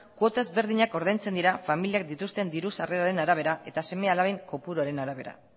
kuota ezberdinak ordaintzen dira familiak dituzten diru sarreraren arabera eta seme alaben kopuruaren arabera